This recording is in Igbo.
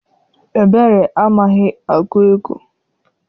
Ebere amaghị agụ ego.